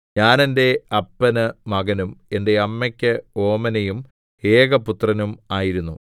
ഞാൻ എന്റെ അപ്പന് മകനും എന്റെ അമ്മയ്ക്ക് ഓമനയും ഏകപുത്രനും ആയിരുന്നു